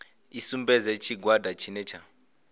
i sumbedze tshigwada tshine tsha